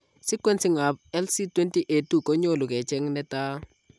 Sequencing ab SLC20A2 konyolu kecheng' netaa